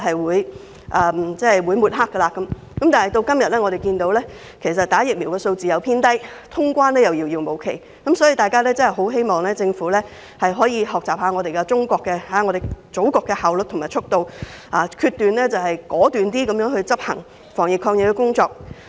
時至今日，香港接種疫苗的人數偏低，通關亦遙遙無期，我很希望政府可以學習中國、我們祖國的效率和速度，果斷地執行防疫抗疫工作。